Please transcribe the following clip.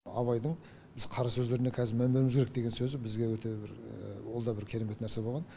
абайдың біз қара сөздеріне қазір мән беруіміз керек деген сөзі бізге өте бір ол да бір керемет нәрсе болған